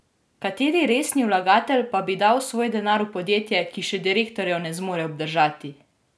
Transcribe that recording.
Kateri resni vlagatelj pa bi dal svoj denar v podjetje, ki še direktorjev ne zmore obdržati!